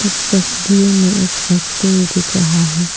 इस तस्वीर में एक फैक्ट्री दिख रहा है।